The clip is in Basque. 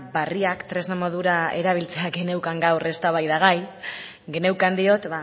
berriak tresna modura erabiltzea geneukan gaur eztabaida gai geneukan diot